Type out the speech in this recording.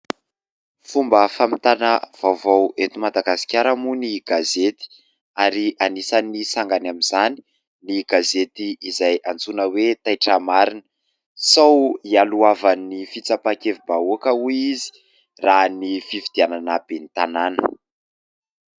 Fomba fampitana vaovao eto Madagasikara moa ny gazety ary anisan'ny sangany amin'izany ny gazety izay antsoina hoe: "Taitra marina". Sao hialohavan'ny fitsapakevim-bahoaka hoy izy raha ny fifidianana ben'ny tanàna.